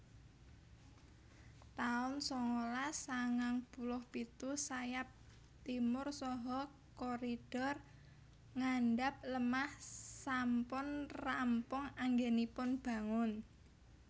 taun sangalas sangang puluh pitu Sayap Timur saha koridor ngandhap lemah sampun rampung anggenipun bangun